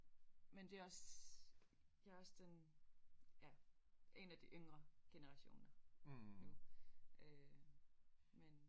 Men det også jeg også den ja en af de yngre generationer nu øh men